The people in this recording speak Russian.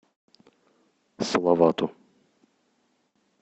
салавату